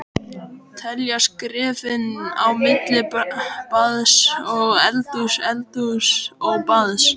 Telja skrefin á milli baðs og eldhúss, eldhúss og baðs.